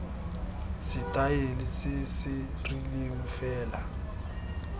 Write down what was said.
setaele se se rileng fela